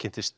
kynntist